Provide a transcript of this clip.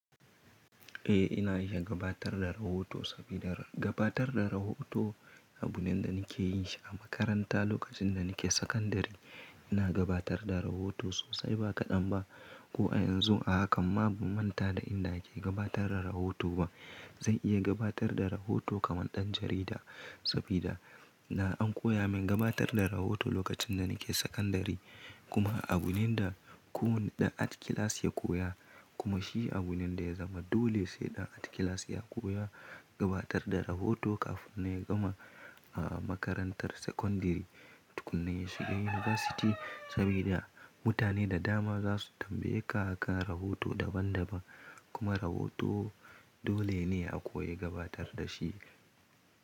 Eh ina iya gabatar da rahoto sabida gabatar da rahoto abu ne da nike yinshi a makaranta lokacin da nike sakandare. Ina gabatar da rahoto sosai ba kaɗan ba. Ko a yanzu a hakan ma ban manta da yanda ake gabatar da rahoto ba. Zan iya gabatar da rahoto kaman ɗan jarida sabida na an koya min gabatar da rahoto lokacin da nike sakandare. Kuma abu ne da kowane ɗan art klas ya koya kuma shi abu ne da ya zama dole sai ɗan art klas ya koya gabatar da rahoto kafin ya gama a makarantar sakandare. Tukunna ya shiga yunivasiti sabida mutane da dama za su tambaye ka akan rahoto daban daban kuma rahoto dole ne a koyi gabatar da shi.